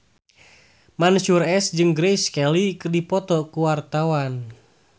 Mansyur S jeung Grace Kelly keur dipoto ku wartawan